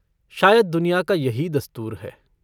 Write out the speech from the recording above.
शायद दुनिया का यही दस्तूर है।